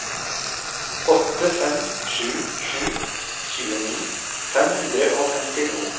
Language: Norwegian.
åtte fem sju sju tjueni fem hundre og femtito